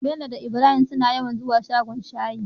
bello da ibrahim suna yawan zuwa shagon shayi